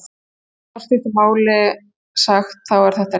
Í afar stuttu máli sagt þá er þetta rétt.